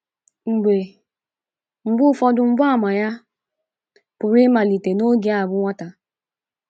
Mgbe Mgbe ụfọdụ mgbaàmà ya pụrụ ịmalite n’oge a bụ nwata.